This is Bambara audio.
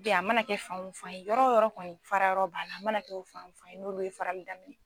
a mana kɛ fan o fan ye yɔrɔ yɔrɔ kɔni fara yɔrɔ b'a la a mana kɛ o fan o fan ye n'olu ye farali daminɛ.